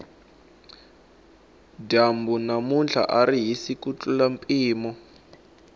dyambu namuntlha ari hisi ku tlurisa mpimo